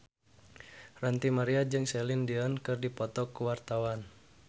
Ranty Maria jeung Celine Dion keur dipoto ku wartawan